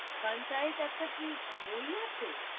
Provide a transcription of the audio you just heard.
একটা কি বই আছে?